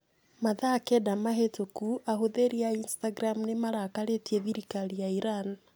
Mathaa kenda mahĩtũku ahũthĩri a Instagram nĩ marakarĩtie thirikari ya Iran.